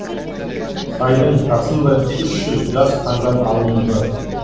сайдың тасындай үш жүз жас таңдап алынды